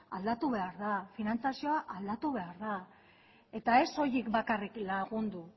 aldatu behar da finantziazioa aldatu behar da eta ez soilik bakarrik lagundu